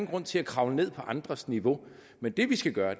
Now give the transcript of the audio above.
grund til at kravle ned på andres niveau men det vi skal gøre